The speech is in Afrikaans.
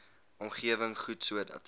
omgewing goed sodat